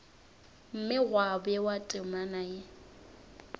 mme gwa bewa temana ye